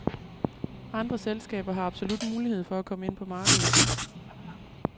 Andre selskaber har absolut mulighed for at komme ind på markedet.